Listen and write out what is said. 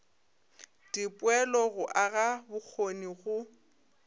dipoelo go aga bokgoni go